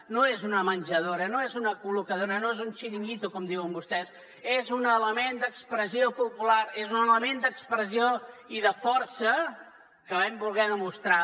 no és una menjadora no és una col·locadora no és un xiringuito com diuen vostès és un element d’expressió popular és un element d’expressió i de força que vam voler demostrar